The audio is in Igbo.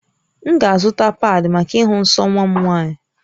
M ga-azụta paadị̀ maka ịhụ nsọ nwa m nwaanyị